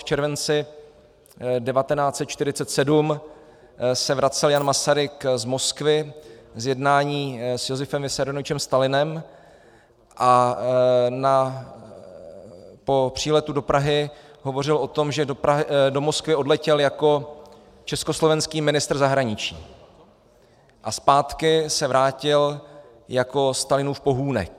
V červenci 1947 se vracel Jan Masaryk z Moskvy z jednání s Josifem Vissarionovičem Stalinem a po příletu do Prahy hovořil o tom, že do Moskvy odletěl jako československý ministr zahraničí a zpátky se vrátil jako Stalinův pohůnek.